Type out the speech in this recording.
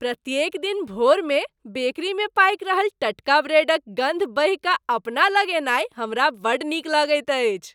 प्रत्येक दिन भोरमे बेकरीमे पाकि रहल टटका ब्रेडक गन्ध बहिकऽ अपना लग अयनाइ हमरा बड्ड नीक लगैत अछि।